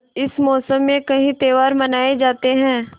इस मौसम में कई त्यौहार मनाये जाते हैं